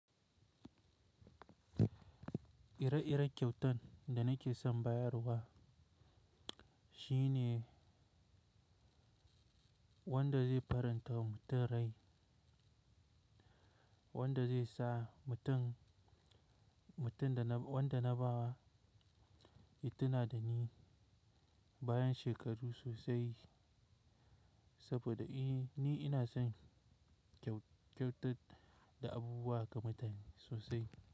Ire-iren kyautan da nake son bayarwa shine wanda zai faranta wa mutum rai, wanda zai sa mutum dana wanda na ba wa ya tuna da ni bayan shekaru sosai saboda eh ni ina son kyau kyautar da abubuwa ga mutane sosai.